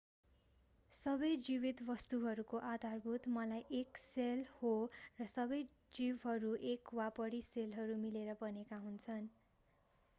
सबै जीवित वस्तुहरूको आधारभूत एकाइ सेल हो र सबै जीवहरू एक वा बढी सेलहरू मिलेर बनेका हुन्छन्